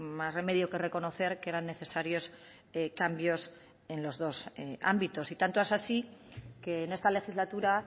más remedio que reconocer que eran necesarios cambios en los dos ámbitos y tanto es así que en esta legislatura